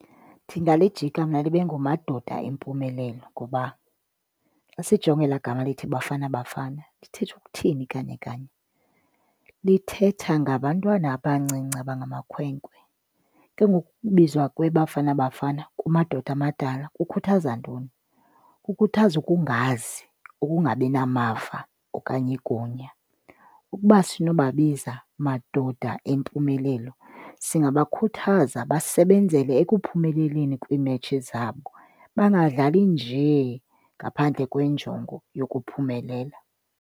Ndingalijika mna libe nguMadoda Empumelelo. Ngoba xa sijonga elaa gama lithi Bafana Bafana lithetha ukuthini kanye kanye? Lithetha ngabantwana abancinci abangamakhwenkwe. Ke ngoku ukubizwa kweBafana Bafana kumadoda amadala kukhuthaza ntoni? Kukhuthaza ukungazi, ukungabi namava okanye igunya. Ukuba sinobabiza Madoda Empumelelo singabakhuthaza basebenzele ekuphumeleleni kwiimetshi zabo, bangadlali njee ngaphandle kweenjongo yokuphumelela.